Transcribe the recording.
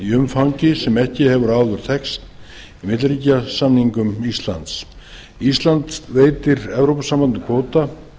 umfangi sem ekki hefur áður þekkst í milliríkjasamningum íslands ísland veitir evrópusambandinu kvóta